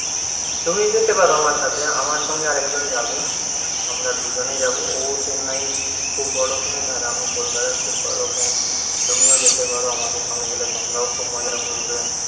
তুমিও যেতে পারো আমের সাথে আমার সঙ্গে আরেকজন যাবে আমরা দুজনে যাব ও চেন্নাইর খুব বড় fan আর আমি কলকাতার খুব বড় fan তুমিও যেতে পারো আমাদের সঙ্গে গেলে তোমরাও খুব মজা করবে